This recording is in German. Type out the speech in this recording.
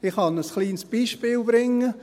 Ich kann ein kleines Beispiel bringen.